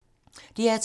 DR2